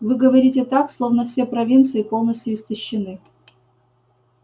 вы говорите так словно все провинции полностью истощены